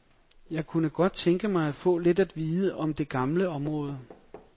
Jeg kunne godt tænke mig at få lidt at vide om det gamle område.